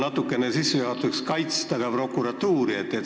Ma tahan sissejuhatuseks natukene prokuratuuri kaitsta.